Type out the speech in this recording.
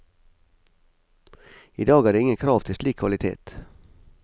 I dag er det ingen krav til slik kvalitet.